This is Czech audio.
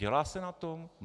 Dělá se na tom?